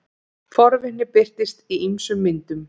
Forvitni birtist í ýmsum myndum.